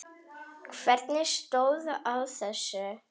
Hvernig stóð á þessu?